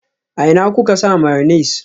A ina kuka sa mayonnaise?